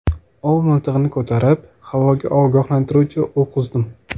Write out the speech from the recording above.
Ov miltig‘ini ko‘tarib, havoga ogohlantiruvchi o‘q uzdim.